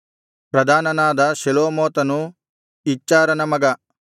ಪ್ರಧಾನನಾದ ಶೆಲೋಮೋತನು ಇಚ್ಹಾರನ ಮಗ